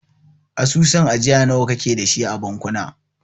Asusun ajiya nawa kake dashi a bankuna?